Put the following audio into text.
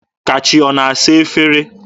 Kachi ọ na-asa efere?